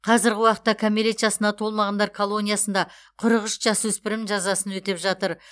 қазіргі уақытта кәмелет жасына толмағандар колониясында қырық үш жасөспірім жазасын өтеп жатыр